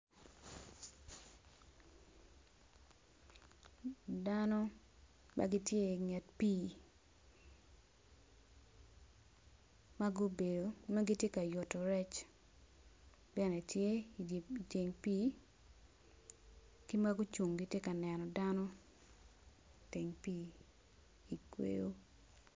Dano ma gitye inget pii ma gubedo ma giti ka yuto rec bene tye inget pii ki ma gucung giti ka neno dano i teng pii i kweyo